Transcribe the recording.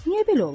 Niyə belə olur?